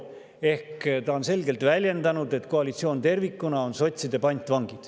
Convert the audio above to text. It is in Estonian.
Ehk ta on selgelt väljendanud, et koalitsioon tervikuna on sotside pantvang.